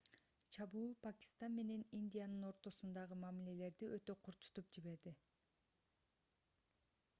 чабуул пакистан менен индиянын ортосундагы мамилелерди өтө курчутуп жиберди